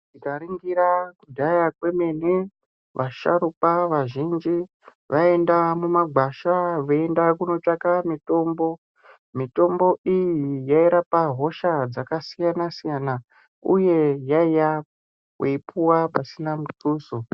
Tikaringira kudhaya kwemene vasharukwa vazhinji vaienda mumagwasha veienda kunotsvaka mitombo mitombo iyi yairapa hosha dzakasiyana siyana uye yaiya yeipuwa pasina mutuso.